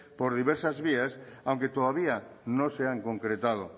por diversas vías aunque todavía no se han concretado